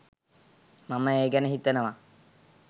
මම ඒ ගැන හිතනව